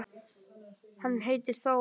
Hann heitir Þór.